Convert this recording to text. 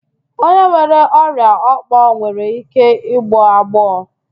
Onye nwere ọrịa òkpò nwere ike ịgbọ agbọọ